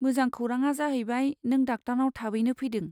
मोजां खौराङा जाहैबाय नों डाक्टारनाव थाबैनो फैदों।